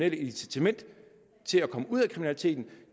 et incitament til at komme ud af kriminaliteten